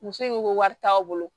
Muso in ko ko wari t'aw bolo